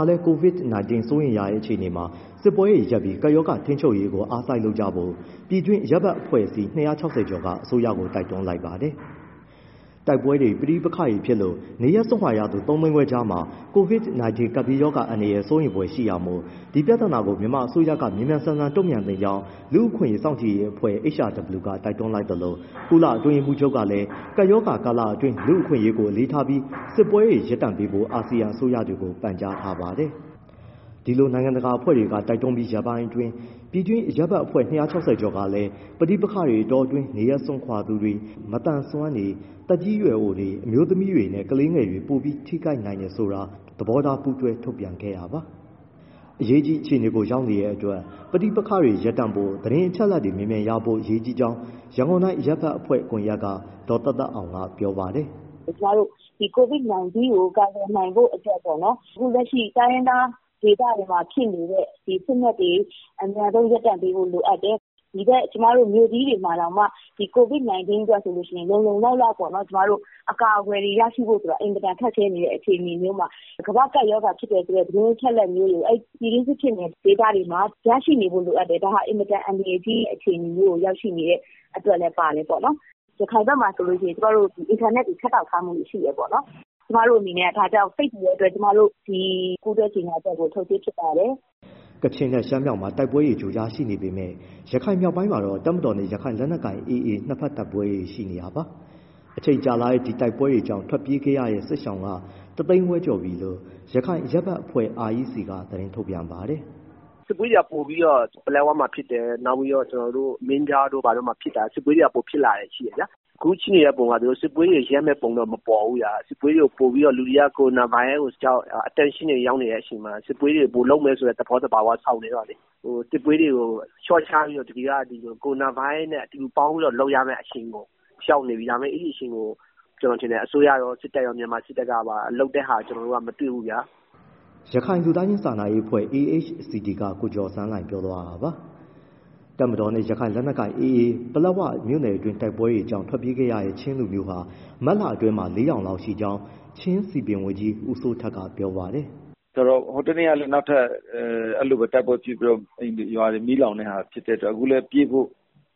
ှာလည်း COVID-19 စိုးရိမ်ရတဲ့ အခြေအနေမှာ စစ်ပွဲတွေရပ်ပြီး ကပ်ရောဂါထိန်းချုပ်ရေးကို အားစိုက်လုပ်ကြဖို့ ပြည်တွင်းအရပ်ဘက်အဖွဲ့အစည်း ၂၆၀ ကျော်က အစိုးရကို တိုက်တွန်းလိုက်ပါတယ်။ တိုက်ပွဲတွေ၊ ပဋိပက္ခဖြစ်လို့ နေရပ်စွန့်ခွာနေရသူ ၃၅၀,၀၀၀ ကြားမှာ COVID-19 ကပ်ဘေးအန္တရာယ် စိုးရိမ်ဖွယ်ရှိတာမို့ ဒီပြဿနာကို မြန်မာအစိုးရက မြန်မြန်ဆန်ဆန် တုံ့ပြန်သင့်ကြောင်း လူ့အခွင့်ရေးစောင့်ကြည့်ရေးအဖွဲ့ HRW က တိုက်တွန်းလိုက်သလို ကုလ အတွင်းရေးမှူးချုပ်ကလည်း ကပ်ရောဂါကာလအတွင်း လူ့အခွင့်အရေးကို အလေးထားပြီး စစ်ပွဲတွေရပ်ပေးဖို့ အာဆီယံအစိုးရတွေကို ပန်ကြားထားပါတယ်။ ဒီလို နိုင်ငံတကာအဖွဲ့တွေက တိုက်တွန်းပြီးရက်ပိုင်းအတွင်း ပြည်တွင်းအရပ်ဘက်အဖွဲ့ ၂၆၀ ကျော်ကလည်း ပဋိပက္ခအတောအတွင်း နေရပ်စွန့်ခွာသူတွေ၊ မသန်စွမ်းတွေ၊ သက်ကြီးရွယ်အိုတွေ၊ အမျိုးသမီးနဲ့ ကလေးငယ်တွေက ပိုပြီး ထိခိုက်နိုင်တယ်ဆိုတာ သဘောထား ပူးတွဲထုတ်ပြန်ခဲ့တာပါ။ အရေးကြီး အခြေအနေကို ရောက်နေတဲ့အတွက် ပဋိပက္ခတွေရပ်တန့်ဖို့၊ သတင်းအချက်အလက်မြန်မြန်ရဖို့ အရေးကြီးကြောင်း ရန်ကုန်တိုင်းအရပ်ဘက်အဖွဲ့ ကွန်ရက်က ဒေါ်သက်သက်အောင်က ပြောပါတယ်။ “ကျမတို့ ဒီ COVID-19 ကို ကာကွယ်နိုင်ဖို့အတွက် အခုလက်ရှိ တိုင်းရင်းသား ဒေသတွေမှာ ရှိနေတဲ့ စစ်မက်တွေ အမြန်ဆုံး ရပ်တန့်ပေးဖို့ လိုအပ်တယ်။ ဒီဘက် ကျမတို့ မြို့ကြီးတွေမှာတောင်မှ COVID-19 အတွက် လုံလုံလောက်လောက် အကာအကွယ်ရဖို့ ခက်ခဲနေတဲ့ အခြေအနေမျိုးမှာ ကမ္ဘာ့ကပ်ရောဂါ ဖြစ်တယ်ဆိုတဲ့ သတင်းအချက်အလက်မျိုးတွေ ပြည်တွင်းစစ်ဖြစ်တဲ့ဒေသတွေမှာ ရရှိနေဖို့လိုအပ်တယ်။ ရခိုင်ဘက်မှာ အင်တာနက် ဖြတ်တောက်ထားမှုတွေ ရှိတယ်၊ ကျမတို့အနေနဲ့ ဒါကြောင့် စိတ်ပူတဲ့အတွက် ဒီပူးတွဲကြေညာချက်ကို ထုတ်ခြင်းဖြစ်ပါတယ်။” ကချင်နဲ့ ရှမ်းမြောက်မှာ တိုက်ပွဲတွေ ကြိုကြား ရှိနေပေမဲ့ ရခိုင်မြောက်ပိုင်းမှာတော့ တပ်မတော်နဲ့ ရခိုင်လက်နက်ကိုင် AA နှစ်ဘက်တိုက်ပွဲတွေ ရှိနေပါတယ်။ အချိန်ကြာလာတဲ့ ဒီတိုက်ပွဲကြောင့် ထွက်ပြေးခဲ့ရတဲ့ စစ်ရှောင်က ၁၅၀,၀၀၀ ကျော်ပြီလို့ ရခိုင်အရပ်ဘက်အဖွဲ့ REC က သတင်းထုတ်ပြန်ပါတယ်။ “စစ်ပွဲတွေက ပိုပြီးတော့ ပလက်ဝမှာဖြစ်တယ်။ နောက်ပြီး မင်းပြားတို့ ဘာတို့မှာ စစ်ပွဲတွေက ပိုဖြစ်လာတာ ရှိတယ်။ အခုရှိနေတဲ့ပုံက သူတို့ စစ်ပွဲတွေကို ရပ်မယ့်ပုံတော့ မပေါ်ဘူး။ လူတွေက ကိုရိုနာဗိုင်းရပ်စ်ကြောင့် attention တွေ ရောက်နေတဲ့အချိန်မှာ စစ်ပွဲတွေကို ပိုလုပ်မယ်ဆိုတဲ့ သဘော သဘာဝ ဆောင်နေတော့လေ။ စစ်ပွဲတွေကို လျှော့ချပြီး ကိုရိုနာဗိုင်းရပ်စ်နဲ့ အတူတူပေါင်းပြီး လုပ်ရမယ့်အချိန်ကို ရောက်နေပြီ။ ဒါပေမဲ့ အဲဒီအချိန်ကို အစိုးရရော၊ စစ်တပ်ရော၊ မြန်မာစစ်တပ်ကပါ လုပ်တဲ့ဟာ မတွေ့ဘူး။” ရခိုင်လူသားချင်းစာနာရေးအဖွဲ့ AHCT က ကိုကျော်ဆန်းလှိုင်ပြောသွားတာပါ။ တပ်မတော်နဲ့ ရခိုင်လက်နက်ကိုင် AA ပလက်ဝမြို့နယ်အတွင်း တိုက်ပွဲတွေကြောင့် ထွက်ပြေးခဲ့တဲ့ ချင်းလူမျိုးဟာ မတ်လအတွင်းမှာ ၄,၀၀၀ လောက် ရှိကြောင်း ချင်းစည်ပင်ဝန်ကြီး ဦးစိုးထက်က ပြောပါတယ်။ “ဆိုတော့ ဟိုတနေ့ကလည်း နောက်ထပ် အဲဒီလို တိုက်ပွဲဖြစ်ပြီးတော့ အိမ်တွေရွာတွေ မီးလောင်တဲ့ဟာ ဖြစ်တဲ့အတွက် အခုလည်း ပြေးဖို့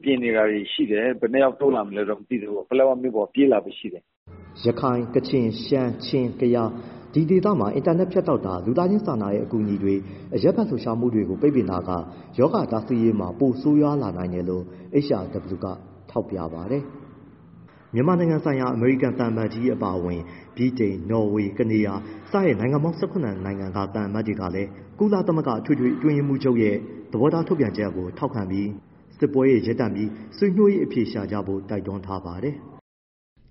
ပြင်နေတာတွေ ရှိတယ်။ ဘယ်နှယောက် တိုးလာမလဲတော့ မသိဘူးပေါ့။ ပလက်ဝမြို့ပေါ် ပြေးလာဖို့ရှိတယ်။” ရခိုင်၊ ကချင်၊ ရှမ်း၊ ချင်း၊ ကယား ဒီဒေသတွေမှာ အင်တာနက်ဖြတ်တောက်တာ၊ လူသားချင်းစာနာတဲ့အကူအညီတွေ၊ အရပ်ဘက်လှုပ်ရှားမှုတွေကို ပိတ်ပင်တာက ရောဂါတားဆီးရေးမှာ ပိုဆိုးရွားနိုင်တယ်လို့ HRW ကထောက်ပြပါတယ်။ မြန်မာနိုင်ငံဆိုင်ရာ အမေရိကန်သံအမတ်ကြီးအပါအဝင် ဗြိတိန်၊ နော်ဝေ၊ ကနေဒါ စတဲ့ နိုင်ငံပေါင်း ၁၇ ခုက သံအမတ်ကြီးတွေဟာ ကုလအတွင်းရေးမှူးချုပ်ရဲ့ သဘောထားထုတ်ပြန်ချက်အပေါ် ထောက်ခံပြီး စစ်ပွဲတွေရပ်တန့်ဖို့၊ ဆွေးနွေးအဖြေရှာကြဖို့ တိုက်တွန်းလိုက်ပါတယ်။